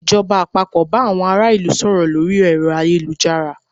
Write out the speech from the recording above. Ìjọba àpapọ̀ bá àwọn ará ìlú sọ̀rọ̀ lórí ẹ̀rọ ayélujárs